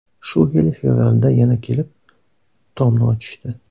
Shu yil fevralda yana kelib, tomni ochishdi.